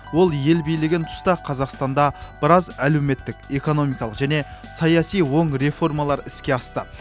ол ел билеген тұста қазақстанда біраз әлеуметтік экономикалық және саяси оң реформалар іске асты